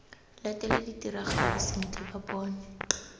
latele ditiragalo sentle ba bone